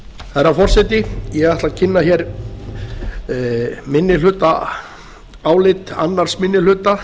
herra forseti ég ætla að kynna hér minnihlutaálit annar minni hluta